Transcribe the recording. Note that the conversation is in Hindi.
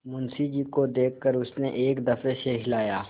मुंशी जी को देख कर उसने एक दफे सिर हिलाया